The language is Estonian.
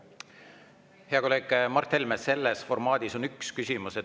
Hea kolleeg Mart Helme, selles formaadis on ainult üks küsimus.